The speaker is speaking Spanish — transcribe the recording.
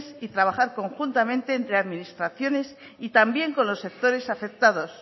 y trabajar conjuntamente entre administraciones y también con los sectores afectados